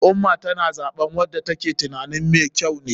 Al ummah tana zaɓen wanda ta ke tunanin me kyau ne.